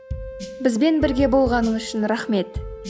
бізбен бірге болғаныңыз үшін рахмет